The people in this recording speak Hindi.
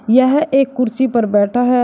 यह एक कुर्सी पर बैठा है।